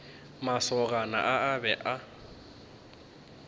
masogana a a be a